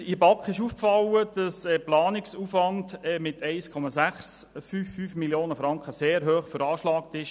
Seitens der BaK ist uns aufgefallen, dass der Planungsaufwand mit 1,655 Mio. Franken sehr hoch veranschlagt ist.